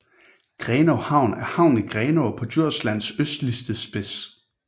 Grenaa Havn er havnen i Grenaa på Djurslands østligste spids